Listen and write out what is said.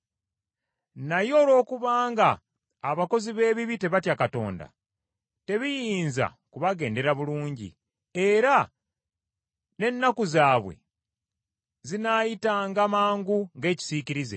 Naye olwokubanga abakozi b’ebibi tebatya Katonda, tebiyinza kubagendera bulungi, era n’ennaku zaabwe zinaayitanga mangu ng’ekisiikirize.